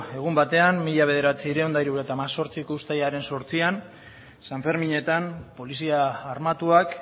egun batean mila bederatziehun eta hirurogeita hemezortziko uztailaren zortzian san ferminetan polizia armatuak